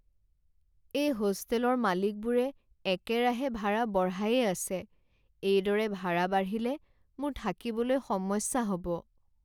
এই হোষ্টেলৰ মালিকবোৰে একেৰাহে ভাড়া বঢ়ায়েই আছে, এইদৰে ভাড়া বাঢ়িলে মোৰ থাকিবলৈ সমস্যা হ'ব।